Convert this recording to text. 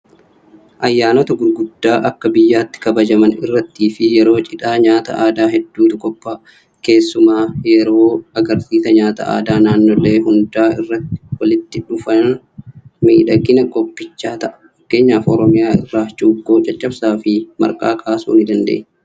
Ayyaanota guguddaa akka biyyaatti kabajaman irrattiifi yeroo cidhaa nyaata aadaa hedduutu qophaa'a. Keessumaa yeeroo agarsiisa nyaata aadaa naannolee hunda irraa walitti dhufuudhaan miidhagina qophichaa ta'a. Fakkeenyaaf Oromiyaa irraa Cuukkoo, Caccabsaafi Marqaa kaasuu nidandeenya.